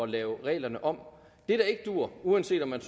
lave reglerne om det der ikke duer uanset om man